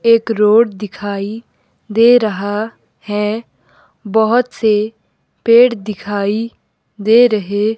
एक रोड दिखाई दे रहा है बहोत से पेड़ दिखाई दे रहे--